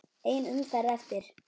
Ein umferð eftir.